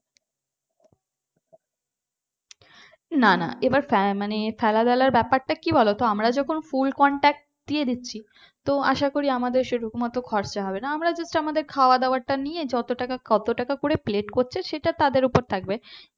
না না এবার ফে মানে ফেলা র ব্যাপারটা কি বলতো মানে আমরা যখন full contract দিয়ে দিচ্ছি তো আশা করি আমাদের সেরকম এত খরচা হবে না আমরা just আমাদের খাওয়া দাওয়া টা নিয়ে যত টাকা কত টাকা করে প্লেট করছে সেটা তাদের ওপর থাকবে